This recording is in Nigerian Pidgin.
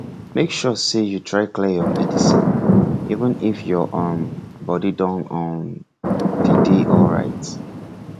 make sure say you try clear your medicine even if your um body don um dey dey alright